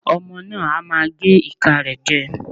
Ọmọ náà á máa gé ìka rẹ̀ jẹ.